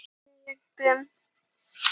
Á henni þekkjast klaufhalar auðveldlega.